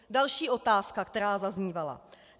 Další otázka, která zaznívala.